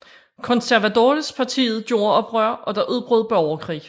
Conservadorespartiet gjorde oprør og der udbrød borgerkrig